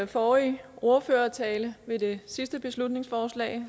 forrige ordførertale ved det sidste beslutningsforslag